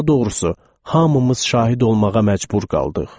Daha doğrusu, hamımız şahid olmağa məcbur qaldıq.